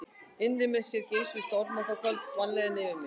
Innra með mér geisuðu stormar og þá hvolfdist vanlíðanin yfir mig.